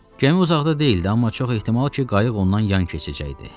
Gəmi uzaqda deyildi, amma çox ehtimal ki, qayıq ondan yan keçəcəkdi.